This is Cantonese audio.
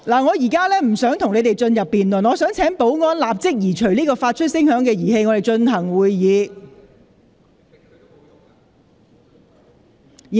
我現在不會與你們辯論，我請保安人員立即移除發聲物件，讓本會繼續進行會議。